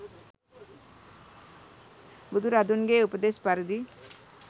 බුදුරදුන්ගේ උපදෙස් පරිදි